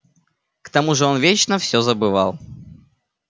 к тому же он вечно всё забывал